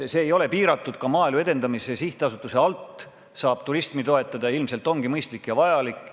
Ka Maaelu Edendamise Sihtasutuse kaudu saab turismi toetada ning ilmselt see ongi mõistlik ja vajalik.